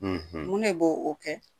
mun ne b'o o kɛ ?